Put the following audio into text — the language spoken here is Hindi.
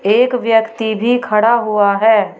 एक व्यक्ति भी खड़ा हुआ है।